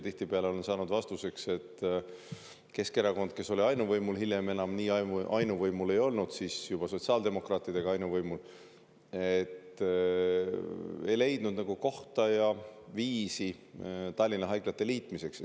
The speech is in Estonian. Tihtipeale sain vastuseks, et Keskerakond – olles algul ainuvõimul, hiljem enam nii ainuvõimul ei olnud, siis juba sotsiaaldemokraatidega koos võimul – ei leidnud kohta ega viisi Tallinna haiglate liitmiseks.